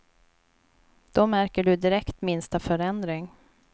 Då märker du direkt minsta förändring.